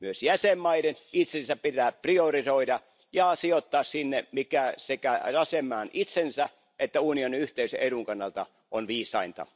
Myös jäsenvaltioiden itsensä pitää priorisoida ja sijoittaa sinne, mikä sekä jäsenvaltion itsensä että unionin yhteisen edun kannalta on viisainta.